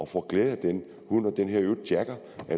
får glæde af den hund og den hedder